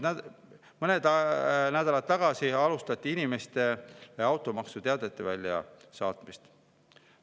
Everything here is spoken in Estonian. Mõned nädalad tagasi alustati inimestele automaksuteadete väljasaatmist.